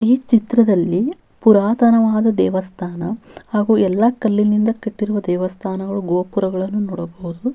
ಆಕಾಶವು ಕಂದು ಮತ್ತು ನೇರಳೆ ಬಣ್ಣದಿಂದ ಕೂಡಿದೆ ಹಾ--